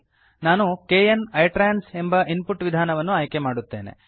ನಾನು kn ITRANS ಎಂಬ input ವಿಧಾನವನ್ನು ಆಯ್ಕೆಮಾಡುತ್ತೇನೆ